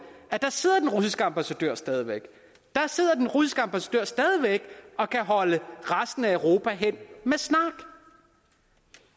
at der sidder den russiske ambassadør stadig væk der sidder den russiske ambassadør stadig væk og kan holde resten af europa hen med snak